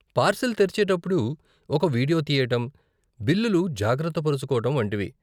Parcel తెరిచేటప్పుడు ఒక video తీయటం, బిల్లులు జాగ్రత్త పరుచుకోవటం వంటివి.